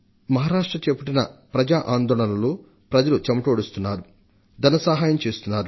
మహారాష్ట్ర చేపట్టిన ప్రజా ఆందోళనలో ప్రజలు చెమటోడుస్తున్నారు ధన సహాయం చేస్తున్నారు